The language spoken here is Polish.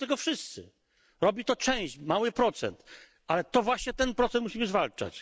Nie robią tego wszyscy, robi to część, mały procent, ale to właśnie ten procent musimy zwalczać.